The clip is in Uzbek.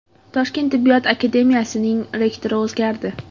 Toshkent tibbiyot akademiyasining rektori o‘zgardi.